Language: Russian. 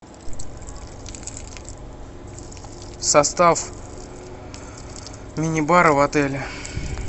состав мини бара в отеле